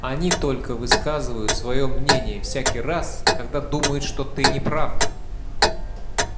они только высказывают своё мнение всякий раз когда думают что ты не прав